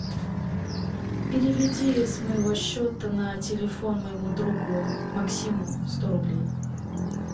переведи с моего счета на телефон моему другу максиму сто рублей